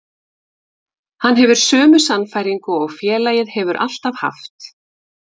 Hann hefur sömu sannfæringu og félagið hefur alltaf haft.